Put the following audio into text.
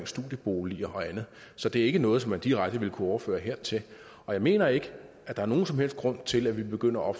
studieboliger og andet så det er ikke noget som man direkte vil kunne overføre hertil jeg mener ikke at der er nogen som helst grund til at vi begynder at